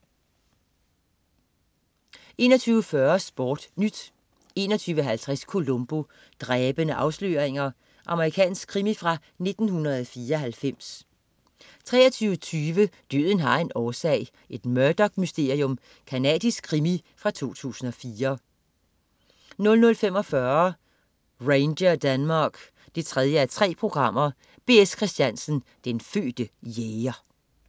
21.40 SportNyt 21.50 Columbo: Dræbende afsløringer. Amerikansk krimi fra 1994 23.20 Døden har en årsag. Et Murdoch-mysterium. Canadisk krimi fra 2004 00.45 Ranger Denmark 3:3. B.S. Christiansen, den fødte jæger